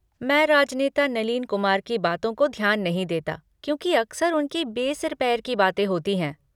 मैं राजनेता नलीन कुमार की बातों को ध्यान नहीं देता क्योंकि अक्सर उनकी बेसिर पैर की बातें होती हैं।